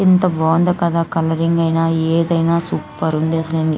ఎంత బాగుంది కదా కలరింగ్ ఐనా ఏదైనా సూపర్ ఉంది.